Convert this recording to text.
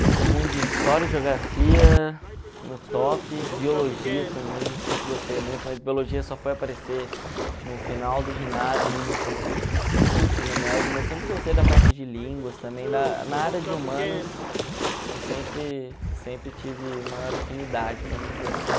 Gostei muito de história e geografia no top, biologia também, sempre gostei muito, mas biologia só foi aparecer no final do ginásio, indo para o para o ensino médio, mas sempre gostei da parte de línguas também, na na área de humanas eu sempre sempre tive maior afinidade, vamos dizer assim.